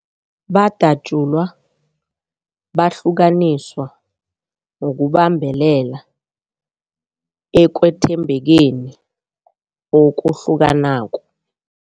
Badatjulwa, bahlukaniswa ukubambelela ekwethembekeni okuhlukanako.